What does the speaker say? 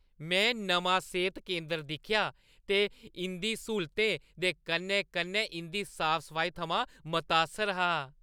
में नमां सेह्‌त केंदर दिक्खेआ ते इंʼदी स्हूलते दे कन्नै-कन्नै इंʼदी साफ-सफाई थमां मतासर हा।